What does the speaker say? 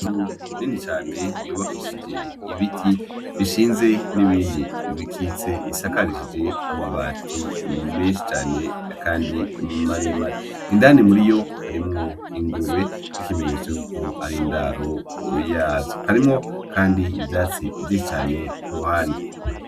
Inzu nini cane yubakishije ibiti bishinze n'ibindi bikitse bisakarishije amabati menshi cane, kandi maremare indani muriyo harimwo ingurube ikimenyetso yuko ari indaro yazo harimwo kandi ivyatsi vyinshi cane kuruhande.